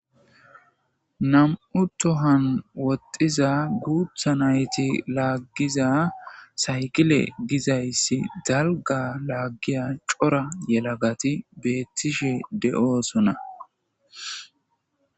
nam7u tohan woxiza guutha nayti laaggiza saykile gizayssi dalga laaggiya cora yelagati beettishe de7oosona